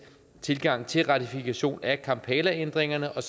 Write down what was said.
tilgang til ratifikation af kampalaændringerne og